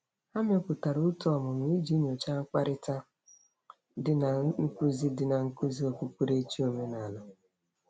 Ha mepụtara òtù ọmụmụ iji nyocha mpụtara dị na nkuzi dị na nkuzi okpukperechi omenala.